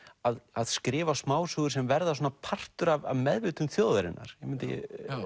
að að skrifa smásögur sem verða svona partur af meðvitund þjóðarinnar ég mundi